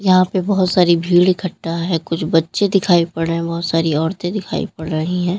यहां पे बोहोत सारी भीड़ इकठ्ठा है कुछ बच्चे दिखाई पड़ रहे है बोहोत सारी औरते दिखाई पड़ रही हैं।